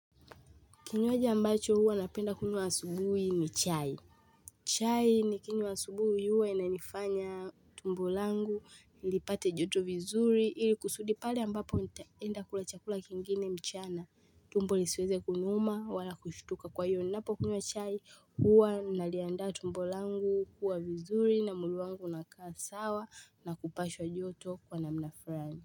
Kinywaji ambacho huwa napenda kunywa asubuhi ni chai chai nikinywa asubuhi huwa inanifanya tumbo langu lipate joto vizuri ili kusudi pali ambapo nitaenda kula chakula kingine mchana tumbo lisiweze kuniuma wala kushtuka kwa hiyo ninapokunywa chai huwa naliandaa tumbo langu kuwa vizuri na mwili wangu unakaa sawa na kupashwa joto kwa namna fulani.